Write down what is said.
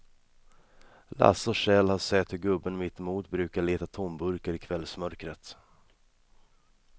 Lasse och Kjell har sett hur gubben mittemot brukar leta tomburkar i kvällsmörkret.